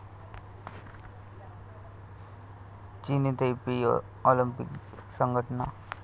चीनी Taipei Olympic संघटना